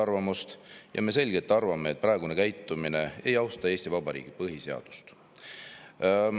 Meie arvates ei austa praegune käitumine Eesti Vabariigi põhiseadust.